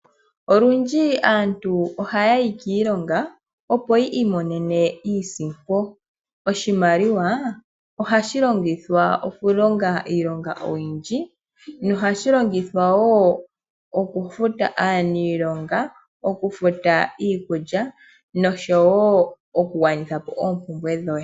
Olundji aantu ohaya yi kiilongo opo yi imonene iisimpo. Oshimaliwa ohashi longithwa okulonga iilonga oyindji nohashi longithwa wo okufuta aaniilonga, okufuta iikulya nosho wo okugwanithapo oompumbwe dhoye.